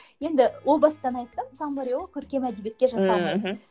енді ол бастан айтсам саммари ол көркем әдебиетке